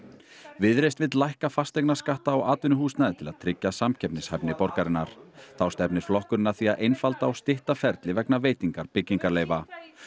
viðreisn vill lækka fasteignaskatta á atvinnuhúsnæði til að tryggja samkeppnishæfni borgarinnar þá stefnir flokkurinn að því að einfalda og stytta ferli vegna veitingar byggingarleyfa